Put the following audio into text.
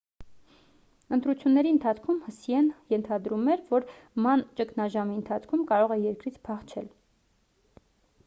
ընտրությունների ընթացքում հսիեն ընթադրում էր որ ման ճգնաժամի ընթացքում կարող է երկրից փախչել